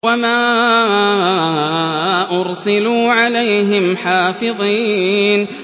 وَمَا أُرْسِلُوا عَلَيْهِمْ حَافِظِينَ